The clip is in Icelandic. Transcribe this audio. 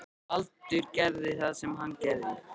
Baldur gerði það sem hann gerði.